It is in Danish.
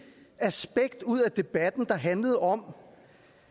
aspekt ud af debatten der handlede om